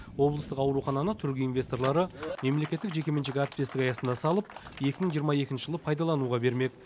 облыстық аурухананы түрік инвесторлары мемлекеттік жекеменшік әріптестік аясында салып екі мың жиырма екінші жылы пайдалануға бермек